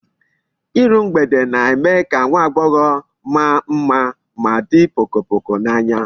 Iru mgbede na-eme ka nwa agbogho maa mma ma di pokopoko n'anya